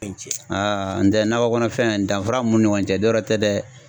E ni ce n tɛ nakɔ kɔnɔfɛn danfara mun ni ɲɔgɔn cɛ dɔwɛrɛ tɛ dɛ